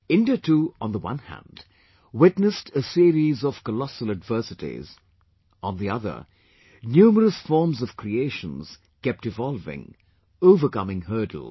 India too, on the one hand, witnessed a series of colossal adversities; on the other, numerous forms of creations kept evolving, overcoming hurdles